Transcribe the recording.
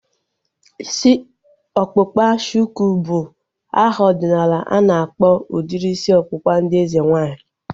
Isi ọkpụkpa shuku bụ aha ọdịnala ana akpọ udiri isi ọkpụkpa ndị eze nwaanyị